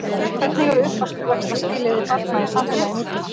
Hvernig eru uppvaxtarskilyrði barna í samfélagi nútímans?